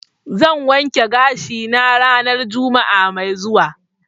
zan wanke gashi na ranan juma'a mai zuwa.